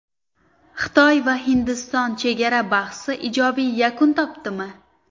Xitoy va Hindiston chegara bahsi ijobiy yakun topadimi?